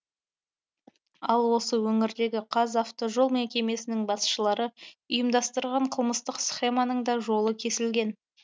ал осы өңірдегі қазавтожол мекемесінің басшылары ұйымдастырған қылмыстық схеманың да жолы кесілген